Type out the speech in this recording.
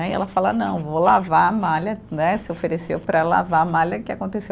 E ela fala, não, vou lavar a malha né, se ofereceu para lavar a malha, que aconteceu?